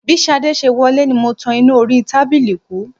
Bí Ṣadé ṣe wọlé ni mo tan iná orí tábìlì kú